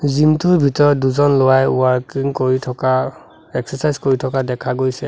Gym টোৰ ভিতৰত দুজন ল'ৰাই ৱাৰ্কিং কৰি থকা এক্সেৰ্ছাইয কৰি থকা দেখা গৈছে।